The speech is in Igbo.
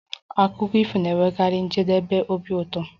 Akụkọ ifo na-enwekarị njedebe obi ụtọ